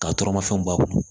Ka tɔrɔmafɛnw b'a bolo